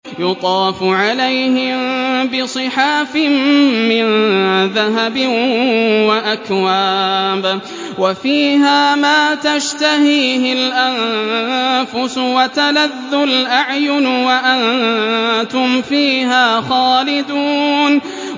يُطَافُ عَلَيْهِم بِصِحَافٍ مِّن ذَهَبٍ وَأَكْوَابٍ ۖ وَفِيهَا مَا تَشْتَهِيهِ الْأَنفُسُ وَتَلَذُّ الْأَعْيُنُ ۖ وَأَنتُمْ فِيهَا خَالِدُونَ